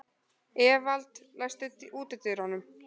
Evald, læstu útidyrunum.